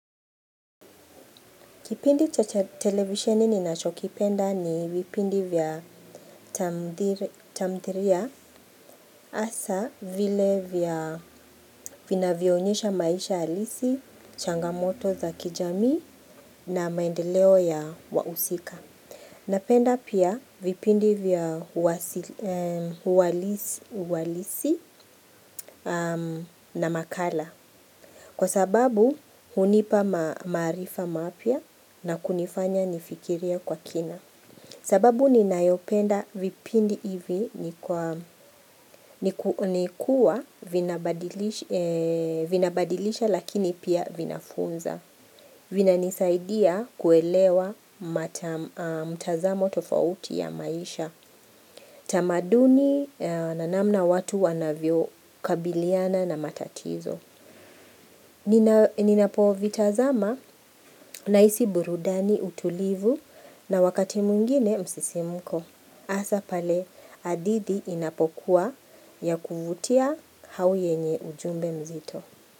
Kipindi cha televisioni ninachokipenda ni vipindi vya tamdhiria hasa vile vya vinavyoonyesha maisha alisi, changamoto za kijamii na maendeleo ya wausika. Napenda pia vipindi vya uwalisi na makala. Kwa sababu hunipa maarifa mapya na kunifanya nifikiria kwa kina. Sababu ninayopenda vipindi hivi ni kuwa vinabadilisha lakini pia vinafunza. Vinanisaidia kuelewa mtazamo tofauti ya maisha. Tamaduni na namna watu wanavyo kabiliana na matatizo. Ninapo vitazama nahisi burudani utulivu na wakati mwingine msisimuko. Hasa pale hadithi inapokuwa ya kuvutia au yenye ujumbe mzito.